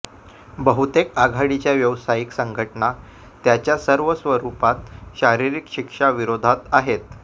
बहुतेक आघाडीच्या व्यावसायिक संघटना त्याच्या सर्व स्वरूपात शारीरिक शिक्षा विरोधात आहेत